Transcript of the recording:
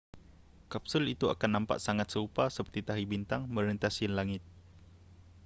kapsul itu akan nampak sangat serupa seperti tahi bintang merentasi langit